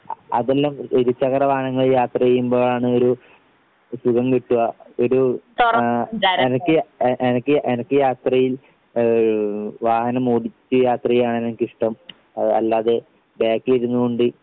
ആഹ് അതെല്ലാം ഇരുചക്രവാഹനങ്ങളിൽ യാത്ര ചെയ്യുമ്പോഴാണ് ഒരു സുഖം കിട്ടുക. ഒരു ആഹ് എനക്ക് എനക്ക് എനക്ക് യാത്രയിൽ വാഹനമോടിച്ച് യാത്ര ചെയ്യാനാണ് എനിക്കിഷ്ടം അല്ലാതെ ബാക്കിൽ ഇരുന്നുകൊണ്ട്